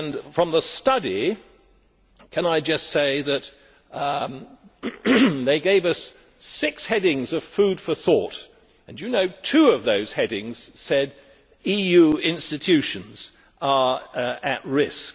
From the study, can I just say that they gave us six headings of food for thought and that two of those headings said EU institutions are at risk.